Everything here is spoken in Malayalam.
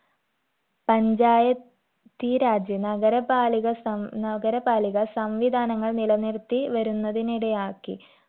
പഞ്ചായ ത്തീരാജ് നഗര പാലിക സം നഗരപാലിക സംവിധാനങ്ങൾ നിലനിർത്തി വരുന്നതിനിടയാക്കി